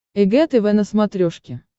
эг тв на смотрешке